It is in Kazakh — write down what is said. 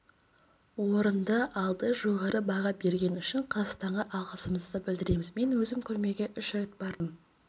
орынды алды жоғары баға бергені үшін қазақстанға алғысымызды білдіреміз мен өзім көрмеге үш рет бардым